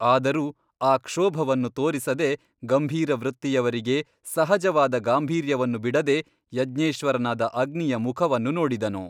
ಆದರೂ ಆ ಕ್ಷೋಭವನ್ನು ತೊರಿಸದೆ ಗಂಭೀರವೃತ್ತಿಯವರಿಗೆ ಸಹಜವಾದ ಗಾಂಭೀರ್ಯವನ್ನು ಬಿಡದೆ ಯಜ್ಞೇಶ್ವರನಾದ ಅಗ್ನಿಯ ಮುಖವನ್ನು ನೋಡಿದನು.